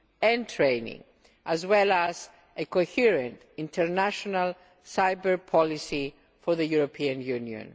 and training, as well as a coherent international cyber policy for the European Union.